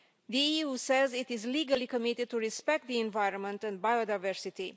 The EU says it is legally committed to respecting the environment and biodiversity.